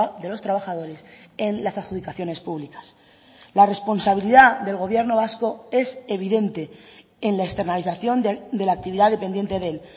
de los trabajadores en las adjudicaciones públicas la responsabilidad del gobierno vasco es evidente en la externalización de la actividad dependiente de él